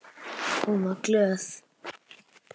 Hún var glöð.